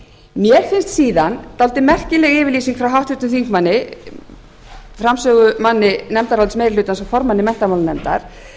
mér finnst síðan dálítið merkileg yfirlýsing frá háttvirtum þingmanni framsögumanni nefndarálits meiri hlutans og formanni menntamálanefndar